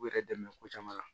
U yɛrɛ dɛmɛ ko caman na